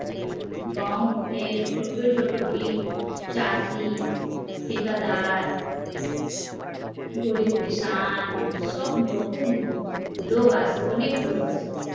গাও এর ছোট ছোট ভি চাষী ঠিকাদার গরিব কিষান সব রকমই লোক আছে অনেক লোক আছে